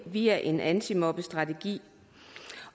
via en antimobningsstrategi